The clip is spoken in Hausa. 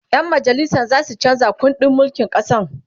ƴan majalisan zasu chanza kundin mulkin ƙasan